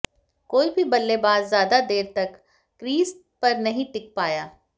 कोई भी बल्लेबाज ज्यादा देर तक क्रीज पर नहीं टिक पाया